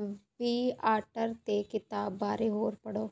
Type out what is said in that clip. Viator ਤੇ ਕਿਤਾਬ ਬਾਰੇ ਹੋਰ ਪੜ੍ਹੋ